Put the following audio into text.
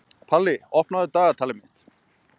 Palli, opnaðu dagatalið mitt.